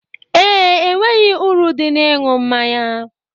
Ee, enweghị uru dị n'ịṅụ mmanya.